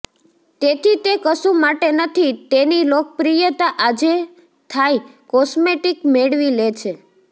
તેથી તે કશું માટે નથી તેની લોકપ્રિયતા આજે થાઈ કોસ્મેટિક મેળવી લે છે